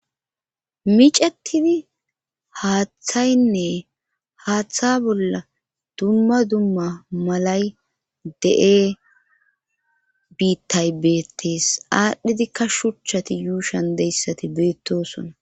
micatidi haaththaynne haaththa bolla dumma dumma malay de7e biittay beettees aadhdhidikka shuchchati yuushan deyssati beettosona